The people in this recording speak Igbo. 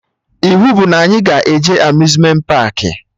Iwu bụ na anyị ga-eje Amuzmenti paakị!